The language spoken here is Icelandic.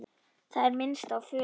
Það er minnst á föður